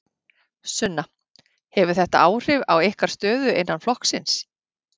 Sunna: Hefur þetta áhrif á ykkar stöðu innan flokksins?